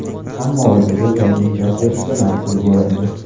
Ammo ularga yana imtiyoz berishga majbur bo‘lindi.